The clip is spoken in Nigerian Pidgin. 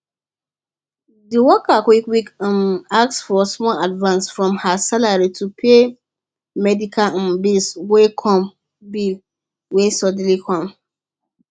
the worker quietly um ask for small advance from her salary to pay medical um bill wey come bill wey suddenly come